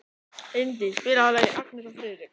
Indí, spilaðu lagið „Agnes og Friðrik“.